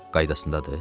Qaydasındadır?